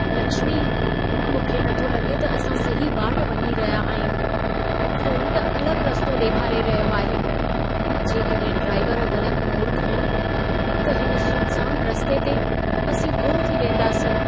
लक्ष्मी, मूंखे नथो लॻे त असां सही वाट वञी रहिया आहियूं। फोन त अलॻ रस्तो ॾेखारे रहियो आहे। जेकॾहिं ड्राइवर ग़लत मोड़ खंयो, त हिन सुनसान रस्ते ते असीं गुम थी वेंदासीं।